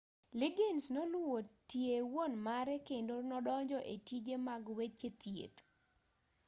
liggins noluwo tie wuon mare kondo nodonjo e tije mag weche thieth